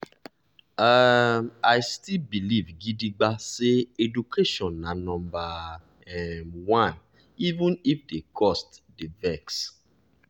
um i still believe gidigba say education na number um 1 even if the costs dey vex.